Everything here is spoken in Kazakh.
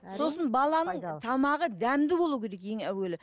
сосын баланың тамағы дәмді болуы керек ең әуелі